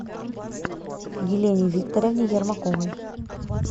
елене викторовне ермаковой